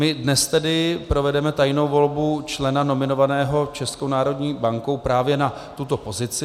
My dnes tedy provedeme tajnou volbu člena nominovaného Českou národní bankou právě na tuto pozici.